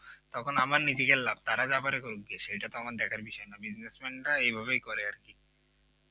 তখন আমার নিজেদের লাভ তারা যা করে ক্রুগগা সেটা তো আমার দেখার বিষয় না businessman এভাবে করে আর কি